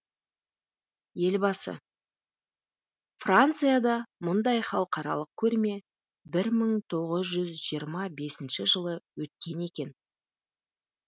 елбасы францияда мұндай халықаралық көрме бір мың тоғыз жүз жиырма бесінші жылы өткен екен